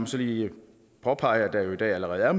så lige påpege at der jo i dag allerede er